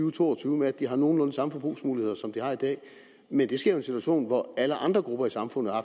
og to og tyve med at de har nogenlunde samme forbrugsmuligheder som de har i dag men det sker jo situation hvor alle andre grupper i samfundet har